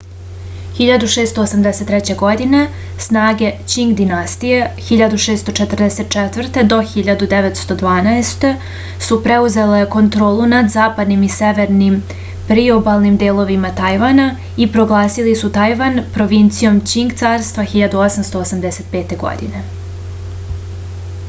1683. године снаге ћинг династије 1644-1912 су преузеле контролу над западним и северним приобалним деловима тајвана и прогласили су тајван провинцијом ћинг царства 1885. године